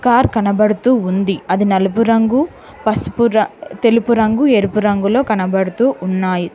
Car కనబడుతూ ఉంది అది నలుపు రంగు పసుపు తెలుపు రంగు ఎరుపు రంగులో కనబడుతూ ఉన్నాయి.